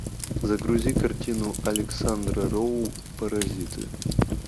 загрузи картину александра роу паразиты